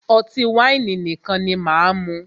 Ọtí wáìnì nìkan ni máà mú.